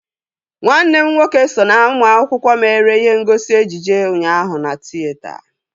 Nwanne m nwoke so na ụmụ akwụkwọ mere ihe ngosi ejije ụnyaahụ na tịyeta